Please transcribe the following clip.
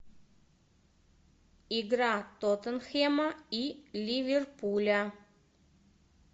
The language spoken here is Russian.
игра тоттенхэма и ливерпуля